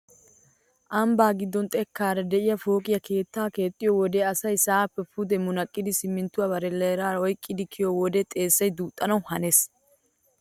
Ambbaa giddon xekkaara de'iyaa pooqe keettaa keexxiyo wode asay sa'aappe puxe munaqqido siminttuwaa barellaara oyqqidi kiyiyo wode xeessay duuxxanawu hanees!